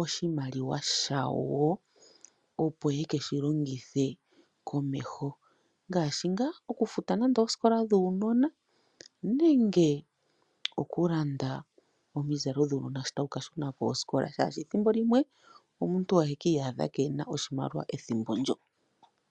oshimaliwa shawo, opo ye ke shi longithe komeho, ngaashi nga oku futa oosikola dhuunona, nenge oku landa omizalo dhuunona shi ta wu ka shuna koskola, omuntu ohe ki iyadha keehena oshimaliwa ethimbo ndjo.